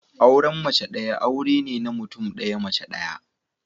Auren mace daya aure ne na mutum daya, mace daya